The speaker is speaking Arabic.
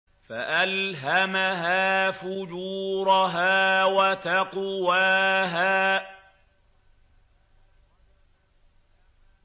فَأَلْهَمَهَا فُجُورَهَا وَتَقْوَاهَا